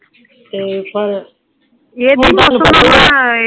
ਤੇ ਪਰ